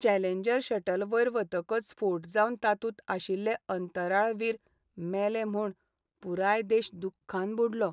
Challenger shuttle वयर वतकच स्फोट जावन तातूंत आशिल्ले अंतराळवीर मेले म्हूण पुराय देश दुख्खान बुडलो.